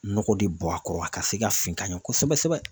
Nɔgɔ de bɔ a kɔrɔ a ka se ka fin ka ɲɛ kosɛbɛ sɛbɛ.